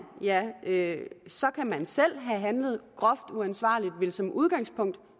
ja så kan man selv have handlet groft uansvarligt og vil som udgangspunkt